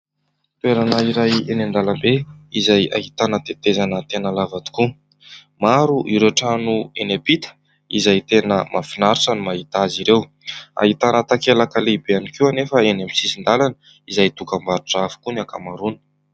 Toerana iray eny an-dalambe izay ahitana tetezana tena lava tokoa. Maro ireo trano eny ampita izay tena mahafinaritra ny mahita azy ireo. Ahitana takelaka lehibe ihany koa anefa eny amin'ny sisin-dalana izay dokam-barotra avokoa ny ankamaroany.